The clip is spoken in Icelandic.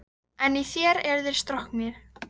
En í þér eru þeir stroknir.